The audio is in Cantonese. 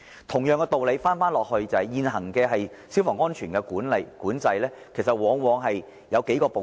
同樣的道理，現行的消防安全管制，往往包括數個部分。